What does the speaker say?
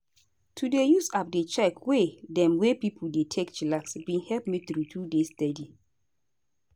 to dey use app dey check way dem wey pipo dey take chillax bin help me true true dey steady.